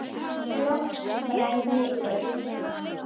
Og undir rita eigin hendi